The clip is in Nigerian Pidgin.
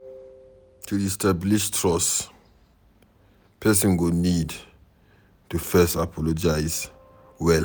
To re-establish trust person go need to first apologize well